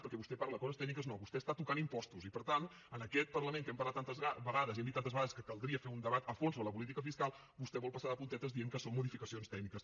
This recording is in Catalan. perquè vostè parla de coses tècniques no vostè està tocant impostos i per tant en aquest parlament que hem parlat tantes vegades i hem dit tantes vegades que caldria fer un debat a fons sobre la política fiscal vostè vol passar de puntetes dient que són modificacions tècniques